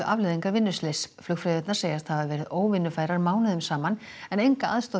afleiðingar vinnuslyss flugfreyjurnar segjast hafa verið óvinnufærar mánuðum saman en enga aðstoð